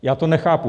Já to nechápu.